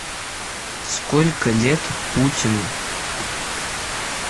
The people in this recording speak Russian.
сколько лет путину